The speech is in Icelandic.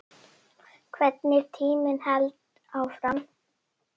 Hvernig tíminn hélt áfram.